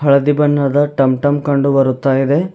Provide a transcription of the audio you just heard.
ಹಳದಿ ಬಣ್ಣದ ಟಂ ಟಂ ಕಂಡು ಬರುತ್ತಾ ಇದೆ.